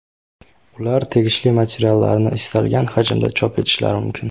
Ular tegishli materiallarni istalgan hajmda chop etishlari mumkin.